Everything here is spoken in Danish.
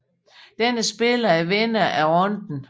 Denne spiller er vinder af runden